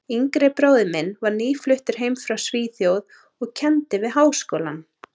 yngri bróðir minn var nýfluttur heim frá Svíþjóð og kenndi við Háskólann.